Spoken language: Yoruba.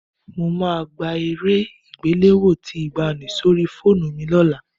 Mo máa gba eré àgbéléwò tí ìgbàanì sórí fóònù mi lọ́la